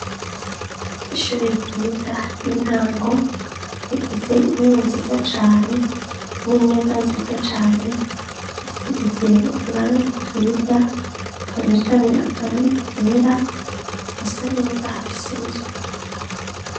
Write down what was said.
Ishure ryiza y'intango ,rifise intebe nziza ,cane, n'imeza nziza cane ,zisize uturangi twiza, cane cane akarangi kera ,asaneza hafise n'isuku.